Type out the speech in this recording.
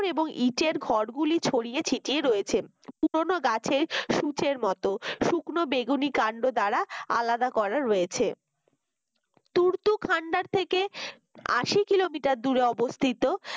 এবং ইটের ঘর গুলি ছড়িয়ে ছিটিয়ে রয়েছে পুরনো গাছের সুচের মত শুকনো বেগুনি কাণ্ড দ্বারা আলাদা করা রয়েছে তুর্ত খান্ডার থেকে আসি কিলোমিটার দূরে অবস্থিত